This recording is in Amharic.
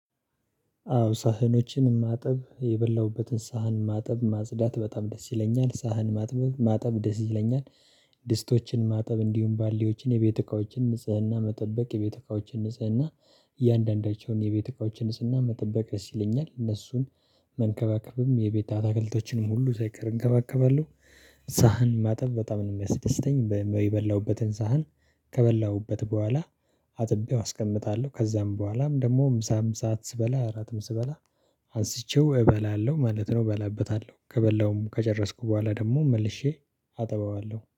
አዎ ሳህኖችን ማጠብ የበላሁበትን ሳህን ማጠብ ማጽዳት በጣም ደስ ይለኛል ሳህን ማጥበብ ማጠብ ደስ ይለኛል። ድስቶችን ማጠብ እንዲሁም ባሌዎችን የቤት እካዎችን ንጽህና መጠበቅ የቤት እካዎችን ንጽህና። እያንዳንዳቸውን የቤተካዎችን ንጽህና መጠበቅ እስ ይለኛል እነሱን መንከባከብም የቤተካዎችንም አታክልቶችንም ሁሉ ሳይቀር እንከባከባለን። ሳህን ማጠብ በጣም ነው የሚያስደስተኝ የበላሁበትን ሳህን። ከበላሁበት በኋላ አጥቤው አስቀምጣለሁ። ከዛም በኋላም ደግሞ ሳም ሰዓት ስበላ እራትም ስበላ አንስቼው እበላለሁ ማለት ነው። እበላበታለሁ ከበላውም ከጨረስኩ በኋላ ደግሞ መልሼ አጠባባለሁ